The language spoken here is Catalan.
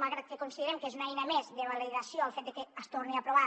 malgrat que considerem que és una eina més de validació el fet de que es torni a aprovar